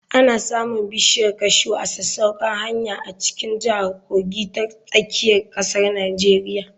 Ana samun bishiya kashu ta sasaukar hanya a cikin jihar Kogi ta tsakiyar ƙasar Nijeriya.